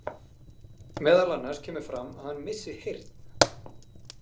Meðal annars kemur fram að hann missi heyrn.